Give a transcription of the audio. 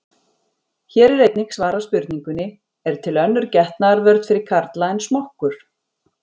Hér er einnig svarað spurningunni: Er til önnur getnaðarvörn fyrir karla en smokkur?